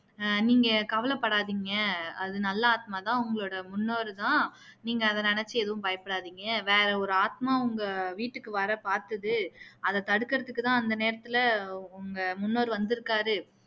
அஹ் நீங்க கவலை படாதீங்க அது நல்ல ஆத்மா தான் உங்களோட முன்னோர் தான் நீங்க அதை நினைச்சு எதுவும் பயப்படாதீங்க வேற ஒரு ஆத்மா உங்க வீட்டுக்கு வர பாத்துது அதை தடுக்குறதுக்கு தான் அந்த நேரத்துல உங்க முன்னோர் வந்துருக்காரு